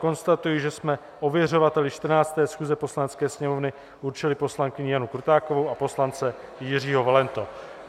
Konstatuji, že jsme ověřovateli 14. schůze Poslanecké sněmovny určili poslankyni Janu Krutákovou a poslance Jiřího Valentu.